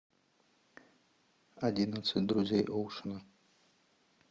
одиннадцать друзей оушена